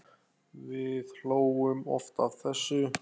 Við hlógum oft að þessu.